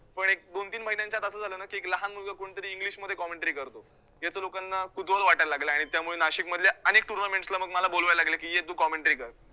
पण एक दोन तीन महिन्यांच्या आत असं झालं ना की एक लहान मुलगा कोणतरी english मध्ये commentary करतो, याच लोकांना कुतूहल वाटायला लागलं आणि त्यामुळे नाशिकमधल्या अनेक tounaments ला मग मला बोलायला लागले की ये तु commentary कर.